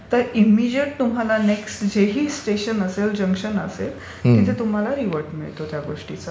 तर इमेजीएट तुम्हाला जे नेक्स्ट स्टेशन असेल, जंक्शन असेल तिथे तुम्हाला रिव्हर्ट मिळतो त्या गोष्टीचा.